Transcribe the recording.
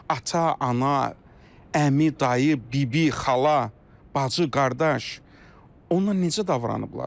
Ata, ana, əmi, dayı, bibi, xala, bacı, qardaş, onunla necə davranıblar?